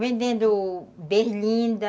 Vendendo berlinda.